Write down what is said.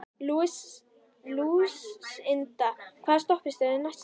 Lúsinda, hvaða stoppistöð er næst mér?